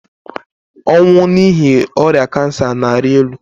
ọnwụ n'ihi ọrịa kansa na-arị elu